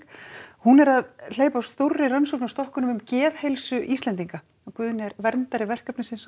hún er að hleypa stórri rannsókn af stokkunum um geðheilsu Íslendinga og Guðni er verndari verkefnisins